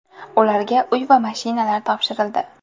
Ularga uy va mashinalar topshirildi.